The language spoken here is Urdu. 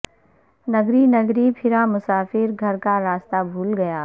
نگری نگری پھرا مسافر گھر کا رستا بھول گیا